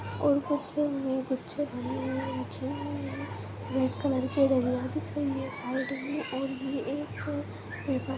और कुछ में गुच्छे भरे हुए रखे हुए हैं रेड कलर के दिखाई है साइड में और भी एक पेपर --